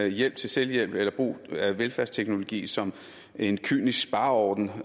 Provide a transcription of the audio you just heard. hjælp til selvhjælp eller brug af velfærdsteknologi som en kynisk spareordning